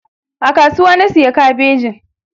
A kasuwa na siya kabejin.